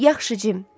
Yaxşı, Cim.